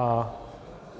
A